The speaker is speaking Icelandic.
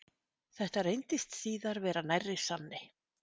Þetta reyndist síðar vera nærri sanni.